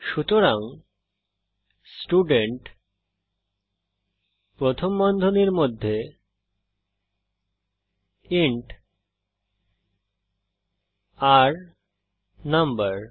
সুতরাং স্টুডেন্ট প্রথম বন্ধনীর মধ্যে ইন্ট r নাম্বার